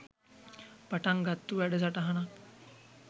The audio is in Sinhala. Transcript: පටන් ගත්තු වැඩ සටහනක්.